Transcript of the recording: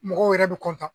Mɔgɔw yɛrɛ bɛ